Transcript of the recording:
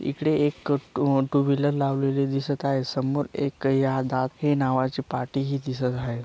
इकडे एक two wheeler लावलेली दिसत आहेत समोर एक यादाक हे नावाची पाटी ही दिसत आहे.